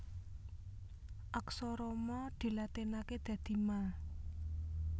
Aksara Ma dilatinaké dadi Ma